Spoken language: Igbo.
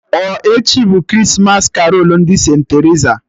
Ọ echi bụ Krismas karolu ndị St.Terisa?